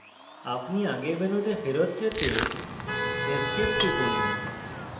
আপনি আগের মেনুতে ফেরৎ যেতে esc টিপুন